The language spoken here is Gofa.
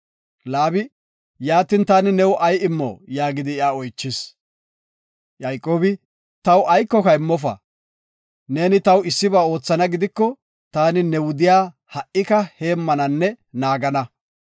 Laabi, “Yaatin taani new ay immo?” yaagidi iya oychis. Yayqoobi, “Taw aykoka immofa, neeni taw issiba oothana gidiko, taani ne wudiya ha7ika heemmananne naagana.